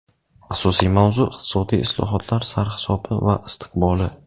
Asosiy mavzu - iqtisodiy islohotlar sarhisobi va istiqboli.